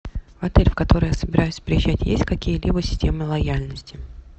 отель в который я собираюсь приезжать есть какие либо системы лояльности